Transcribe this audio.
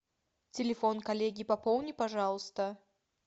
телефон коллеги пополни пожалуйста